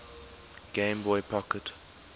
game boy pocket